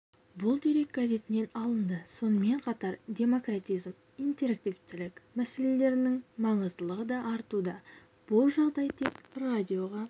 бұл дерек газетінінен алынды сонымен қатар демократизм интерактивтілік мәселелерінің маңыздылығы да артуда бұл жағдай тек радиоға